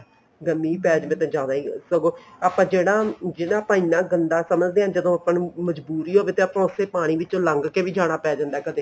ਜਦੋਂ ਮੀਂਹ ਪੈ ਜਾਵੇ ਜਿਆਦਾ ਸਗੋਂ ਆਪਾਂ ਜਿਹੜਾ ਆਪਾਂ ਇੰਨਾ ਗੰਦਾ ਸਮਝਦੇ ਆ ਜਦੋਂ ਆਪਾਂ ਨੂੰ ਮਜਬੂਰੀ ਹੋਵੇ ਤਾਂ ਉਸੇ ਪਾਣੀ ਵਿਚੋਂ ਲੰਘ ਕੇ ਜਾਣਾ ਪੈ ਜਾਂਦਾ ਕਦੇ